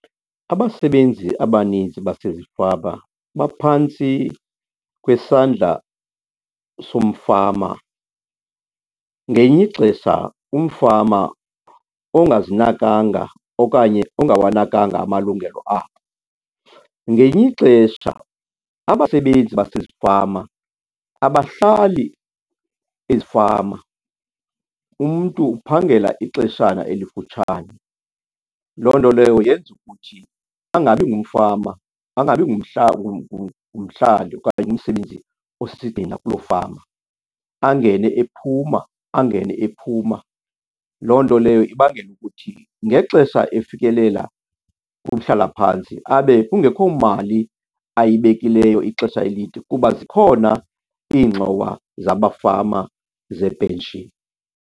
Abasebenzi abaninzi basezifama baphantsi kwesandla somfama, ngelinye ixesha umfama ongazinakanga okanye ongawanakanga amalungelo abo. Ngelinye ixesha abasebenzi basezifama abahlali ezifama, umntu uphangela ixeshana elifutshane. Loo nto leyo yenza ukuthi angabi ngumfama, angabi ngumhlali okanye umsebenzi osigxina kuloo fama, angene ephuma, angene ephuma. Loo nto leyo ibangela ukuthi ngexesha efikelela kumhlalaphantsi abe kungekho mali ayibekileyo ixesha elide kuba zikhona iingxowa zamafama zee-pension.